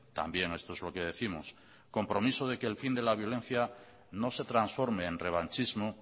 también esto es lo que décimos compromiso de que el fin de la violencia no se transforme en revanchismo